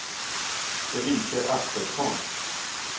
Elise Axelsson